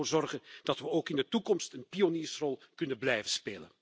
Laten we ervoor zorgen dat we ook in de toekomst een pioniersrol kunnen blijven spelen.